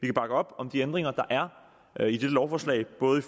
kan bakke op om de ændringer der er i dette lovforslag både i